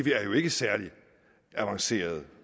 jo ikke særlig avanceret